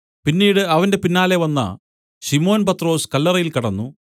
പിന്നീട് അവന്റെ പിന്നാലെ വന്ന ശിമോൻ പത്രൊസ് കല്ലറയിൽ കടന്നു